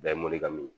Bɛɛ ye morikan min ye